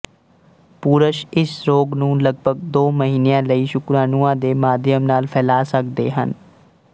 ਪੁਰਸ਼ ਇਸ ਰੋਗ ਨੂੰ ਲਗਭਗ ਦੋ ਮਹੀਨਿਆਂ ਲਈ ਸ਼ੁਕਰਾਣੂਆਂ ਦੇ ਮਾਧਿਅਮ ਨਾਲ ਫੈਲਾ ਸਕਦੇ ਹਨ